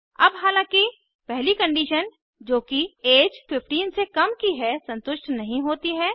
अब हालांकि पहली कंडीशन जो कि ऐज 15 से कम की है संतुष्ट नहीं होती है